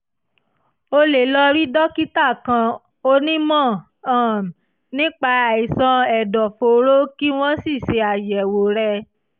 o lè lọ rí dókítà kan/onímọ̀ um nípa àìsàn ẹ̀dọ̀fóró kí wọ́n sì ṣe àyẹ̀wò rẹ